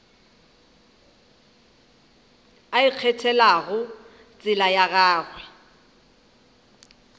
a ikgethelago tsela ya gagwe